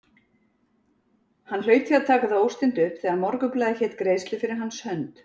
Hann hlaut því að taka það óstinnt upp, þegar Morgunblaðið hét greiðslu fyrir hans hönd!